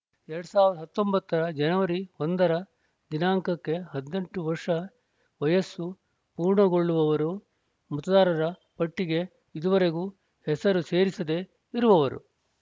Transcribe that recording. ಎರಡ್ ಸಾವಿರದ ಹತ್ತೊಂಬತ್ತರ ಜನವರಿ ಒಂದರ ದಿನಾಂಕಕ್ಕೆ ಹದಿನೆಂಟು ವರ್ಷ ವಯಸ್ಸು ಪೂರ್ಣಗೊಳ್ಳುವವರು ಮತದಾರರ ಪಟ್ಟಿಗೆ ಇದುವರೆಗೂ ಹೆಸರು ಸೇರಿಸದೇ ಇರುವವರು